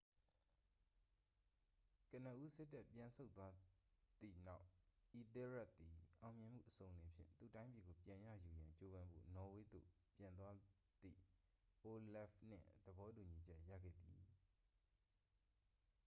ကနဦး စစ်တပ် ပြန်ဆုတ်သွားသည့်နောက် အီသဲရက်သည် အောင်မြင်မှုအစုံအလင်ဖြင့် သူ့တိုင်းပြည်ကို ပြန်ရယူရန် ကြိုးပမ်းဖို့ နော်ဝေးသို့ ပြန်သွားသည့် အိုလဖ်နှင့် သဘောတူညီချက် ရခဲ့သည်